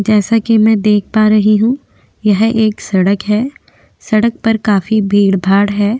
जैसा की में देख पा रही हु यह एक सड़क है सड़क पर काफ़ी भीड़ भाड है।